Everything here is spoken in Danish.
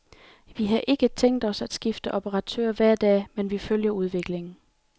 Vi har ikke tænkt os at skifte operatør hver dag, men vi følger udviklingen.